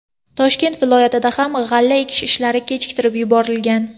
Toshkent viloyatida ham g‘alla ekish ishlari kechiktirib yuborilgan.